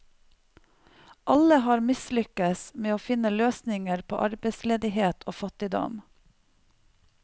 Alle har mislykkes med å finne løsninger på arbeidsledighet og fattigdom.